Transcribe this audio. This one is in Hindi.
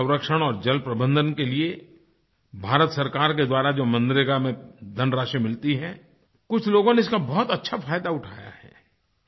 जलसंरक्षण और जलप्रबंधन के लिए भारत सरकार के द्वारा जो मनरेगा में धनराशि मिलती है कुछ लोगों ने इसका बहुत अच्छा फायदा उठाया है